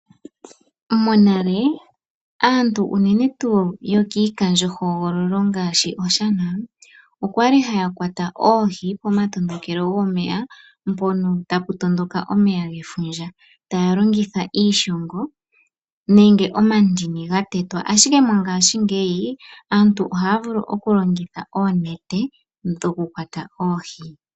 Monale aantu unene tuu yokiikandjo hogololo ngaashi Oshana okwali haya kwata oohi pomatondokole gomeya mpono tapu tondoka omeya gefundja, tayalongitha iishongo nenge omandini gatetwa, ashike mongashingeyi aantu ohayavulu okulongitha oonete dhoku kwata oohi.